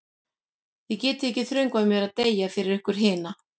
Þið getið ekki þröngvað mér til að deyja fyrir ykkur hina.